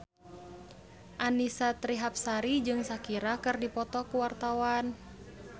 Annisa Trihapsari jeung Shakira keur dipoto ku wartawan